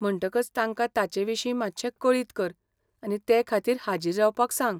म्हणटकच तांका ताचेविशीं मात्शें कळीत कर आनी ते खातीर हाजीर रावपाक सांग.